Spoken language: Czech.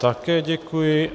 Také děkuji.